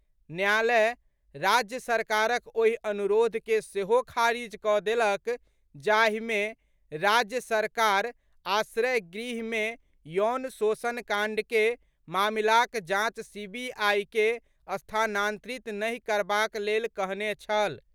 न्यायालय राज्य सरकारक ओहि अनुरोध के सेहो खारिज कऽ देलक जाहि मे राज्य सरकार आश्रय गृह मे यौन शोषण कांड के मामिलाक जांच सीबीआई के स्थानांतरित नहि करबाक लेल कहने छल।